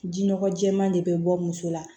Jinɔgɔ jɛman de bɛ bɔ muso la